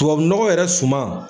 Tubabunɔgɔ yɛrɛ suman